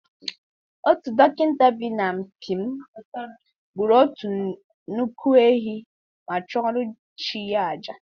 Otu dọkịta bi n’mp m gburu otu nnukwu ehi ma chụọrọ chi ya àjà.